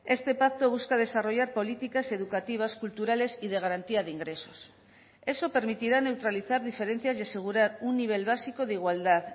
este pacto busca desarrollar políticas educativas culturales y de garantía de ingresos eso permitirá neutralizar diferencias y asegurar un nivel básico de igualdad